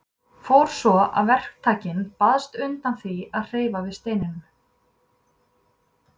Fór svo að verktakinn baðst undan því að hreyfa við steininum.